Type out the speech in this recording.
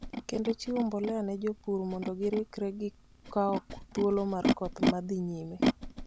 kendo chiwo mbolea ne jopur mondo girikre gi kawo thuolo mar koth ma dhi nyime.